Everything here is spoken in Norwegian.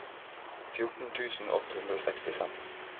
fjorten tusen åtte hundre og sekstifem